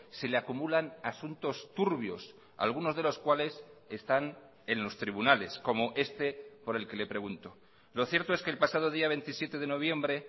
se le acumulan asuntos turbios algunos de los cuales están en los tribunales como este por el que le pregunto lo cierto es que el pasado día veintisiete de noviembre